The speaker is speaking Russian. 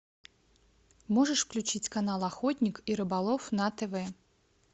можешь включить канал охотник и рыболов на тв